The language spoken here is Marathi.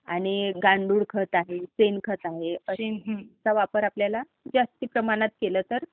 आणि गांडूळ खत आहे, शेणखत आहे, त्याचा वापर जास्त प्रमाणात केला तर